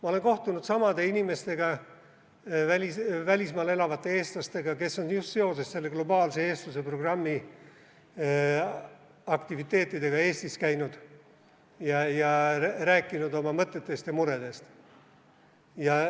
Ma olen kohtunud samade inimestega, välismaal elavate eestlastega, kes on just seoses globaalse eestluse programmiga Eestis käinud ja rääkinud oma mõtetest ja muredest.